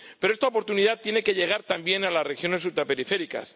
Pero esta oportunidad tiene que llegar también a las regiones ultraperiféricas.